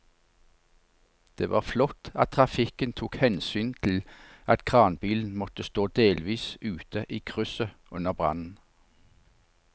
Det var flott at trafikken tok hensyn til at kranbilen måtte stå delvis ute i krysset under brannen.